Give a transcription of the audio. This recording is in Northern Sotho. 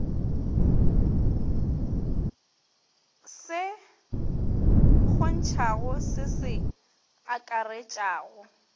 se kgontšhang se se akaretšang